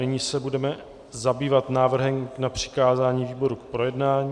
Nyní se budeme zabývat návrhem na přikázání výborům k projednání.